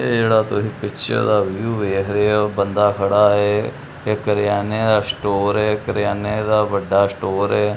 ਏਹ ਜਿਹੜਾ ਤੁਸੀਂ ਪਿਕਚਰ ਦਾ ਵਿਊ ਵੇਖ ਰਹੇ ਹੋ ਬੰਦਾ ਖੜਾ ਹੈ ਇੱਕ ਕਰਿਆਨੇ ਦਾ ਸਟੋਰ ਹੈ ਕਿਰਿਆਨੇ ਦਾ ਵੱਡਾ ਸਟੋਰ ਹੈ।